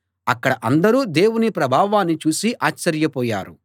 అక్కడ అందరూ దేవుని ప్రభావాన్ని చూసి ఆశ్చర్యపోయారు